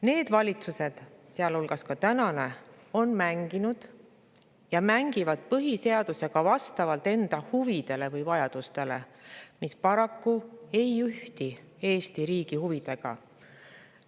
Need valitsused, sealhulgas tänane, on mänginud ja mängivad põhiseadusega vastavalt enda huvidele või vajadustele, mis paraku ei ühti Eesti riigi huvidega.